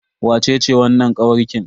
Wacece wannan kawarkin?